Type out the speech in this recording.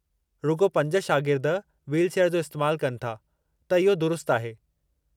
रुॻो पंज शागिर्द व्हीलचेयर जो इस्तेमाल कनि था, त इहो दुरुस्तु आहे।